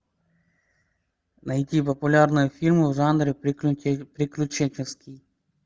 найти популярные фильмы в жанре приключенческий